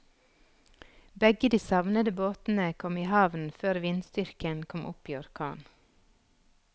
Begge de savnede båtene kom i havn før vindstyrken kom opp i orkan.